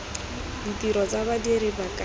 ditiro tsa badiri ba ka